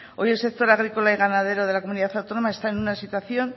hoy el sector de la comunidad agrícola y ganadero de la comunidad autónoma está en una situación